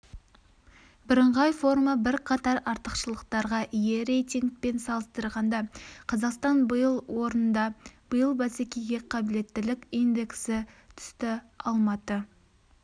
бірыңғай форма бірқатар артықшылықтарға ие рейтингпен салыстырғанда қазақстан биыл оырнда биыл бәсекеге қабілеттілік индексі түсті алматы